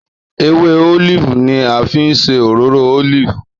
Èwè òlífì ni à fi ń sè òròrò òlífì